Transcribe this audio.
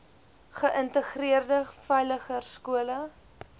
geïntegreerde veiliger skole